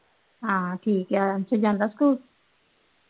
ਹਾ ਠੀਕ ਏ ਫਿਰ ਜਾਂਦਾ school